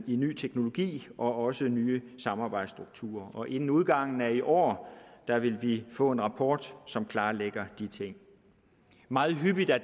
i ny teknologi og også nye samarbejdsstrukturer og inden udgangen af i år vil vi få en rapport som klarlægger de ting meget hyppigt er